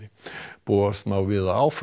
búast má við að áfram